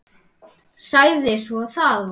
Sagði svo: Það var og